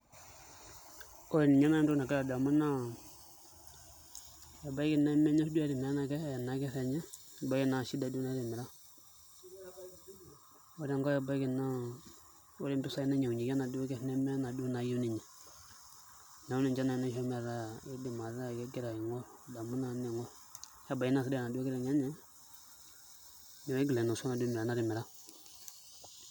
Ore ninye naai entoki nagira adamu naa ebaiki nemenyorr duo etimira ena kerr enye ebaiki naa shida duoo naitimira ore enkae ebaiki naa ore impisaai nainyiang'unyieki enaduo kerr nemenaduo naayieu ninye, neeku ninche naai naishoo metaa aing'orr adamu naa niing'orr nebaiki naa sidai enaduo kiteng' enye neeku kiigil ainosu enaduo mirata natimira.